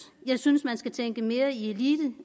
jeg synes man skal tænke mere i elite